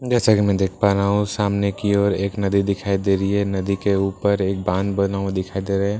जैसा की मैं देख पा रहा हूँ सामने कि ओर एक नदी दिखाई दे रही है नदी के ऊपर एक बांध बना हुआ दिखाई दे रहा है --